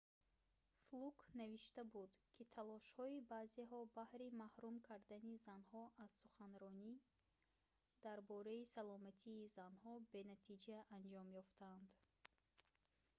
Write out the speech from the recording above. флук навишта буд ки талошҳои баъзеҳо баҳри маҳрум кардани занҳо аз суханронӣ дар бораи саломатии занҳо бенатиҷа анҷом ёфтанд